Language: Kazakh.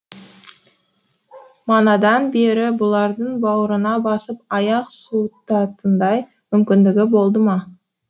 манадан бері бұларды бауырына басып аяқ суытатындай мүмкіндігі болды ма